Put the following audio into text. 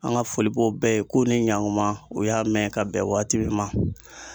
An ka foli b'o bɛɛ ye k'o ni ɲankuma o y'a mɛn ka bɛn waati min ma.